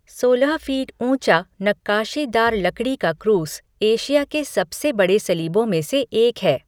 सोलह फीट ऊँचा नक्काशीदार लकड़ी का क्रूस एशिया के सबसे बड़े सलीबों में से एक है।